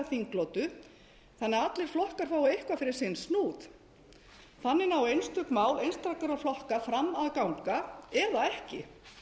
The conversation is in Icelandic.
þinglotu þannig að allir flokkar fái eitthvað fyrir sinn snúð þannig ná einstök mál einstakra flokka fram að ganga eða ekki